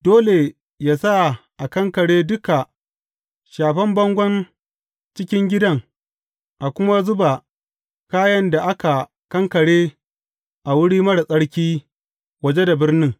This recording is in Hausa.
Dole yă sa a kankare duka shafen bangon cikin gidan a kuma zuba kayan da aka kankare a wurin marar tsarki waje da birnin.